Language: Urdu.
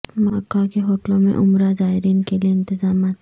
مکہ کے ہوٹلوں میں عمرہ زائرین کے لئے انتظامات